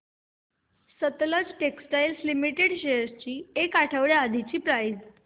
Sutlej textiles limited shares ची एक आठवड्या आधीची प्राइस